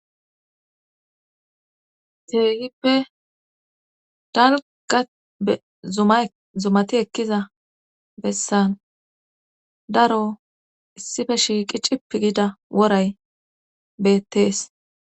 Keehippe dalgga zumay zumati ekkiza bessan daro issippe shiiqqi cippii gida woray beettees